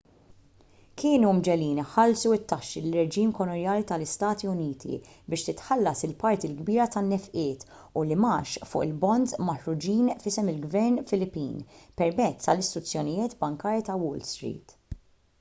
kienu mġegħlin iħallsu t-taxxi lir-reġim kolonjali tal-istati uniti biex titħallas il-parti l-kbira tan-nefqiet u l-imgħax fuq il-bonds maħruġin f'isem il-ġvern filippin permezz tal-istituzzjonijiet bankarji ta' wall street